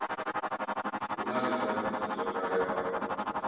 hu na ḽifanyisi ḽo talelwaho